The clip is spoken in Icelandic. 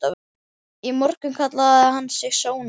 Í morgun kallaði hann sig Sónar.